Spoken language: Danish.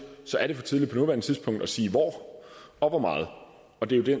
er det for tidligt på nuværende tidspunkt at sige hvor og hvor meget og det det